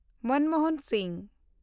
Manmohan Singh